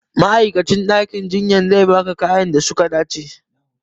Ma'aikacin ɗakin jinya sai ba ka kayayyakin da suka dace